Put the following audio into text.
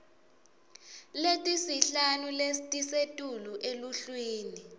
letisihlanu letisetulu eluhlwini